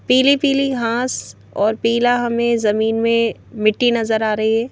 पीली-पीली घास और पीला हमें जमीन में मिट्टी नजर आ रही है ।